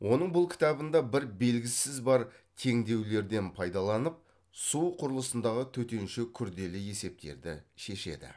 оның бұл кітабында бір белгісізі бар теңдеулерден пайдаланып су құрылысындағы төтенше күрделі есептерді шешеді